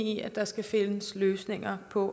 i at der skal findes løsninger på